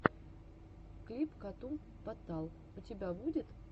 клип катун потал у тебя будет